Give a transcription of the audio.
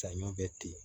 Saɲɔ bɛ ten